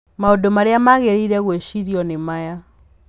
Maũndũ marĩa magĩrĩire gwĩcirio nĩ maya: